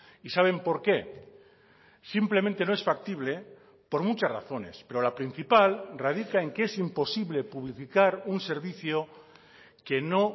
y saben por qué simplemente no es factible por muchas razones pero la principal radica en que es imposible publificar un servicio que no